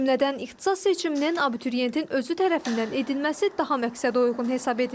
O cümlədən ixtisas seçiminin abituriyentin özü tərəfindən edilməsi daha məqsədəuyğun hesab edilir.